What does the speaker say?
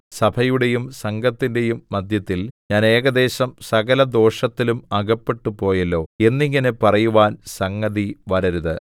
സഭയുടെയും സംഘത്തിന്റെയും മദ്ധ്യത്തിൽ ഞാൻ ഏകദേശം സകലദോഷത്തിലും അകപ്പെട്ടുപോയല്ലോ എന്നിങ്ങനെ പറയുവാൻ സംഗതിവരരുത്